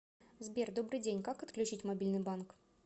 сбер добрый день как отключить мобильный банк